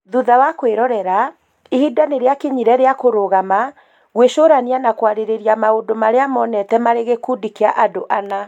Thutha wa kwĩrorera, ihinda nĩ rĩakinyire rĩa kũrũgama, gwĩcũrania na kwarĩrĩria maũndũ marĩa monete marĩ gĩkundi kĩa andũ ana